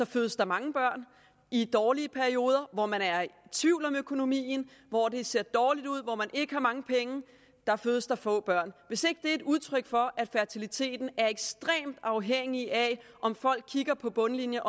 fødes der mange børn og i dårlige perioder hvor man er i tvivl om økonomien hvor det ser dårligt ud og hvor ikke har mange penge fødes der få børn hvis ikke det er udtryk for at fertiliteten er ekstremt afhængig af om folk kigger på bundlinjen